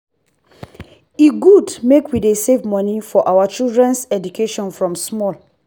e good make we dey save money for our children’s education from small.